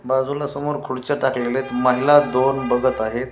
बाजूला समोर खुर्च्या टाकलेल्या आहेत महिला दोन बघत आहेत.